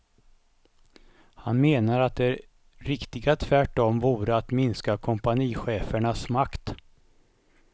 Han menar att det riktiga tvärtom vore att minska kompanichefernas makt.